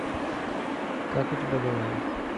как у тебя дела